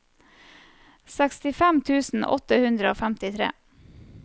sekstifem tusen åtte hundre og femtitre